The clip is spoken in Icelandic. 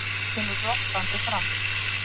Hann kemur glottandi fram.